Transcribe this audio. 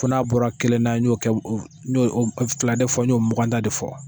Fɔ n'a bɔra kelen na n y'o kɛ fila de fɔ y'o muganda de fɔ.